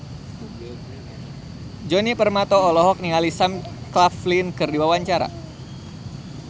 Djoni Permato olohok ningali Sam Claflin keur diwawancara